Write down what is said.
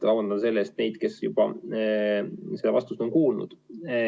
Vabandan nende ees, kes juba seda vastust on kuulnud.